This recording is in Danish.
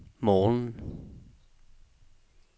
morgenen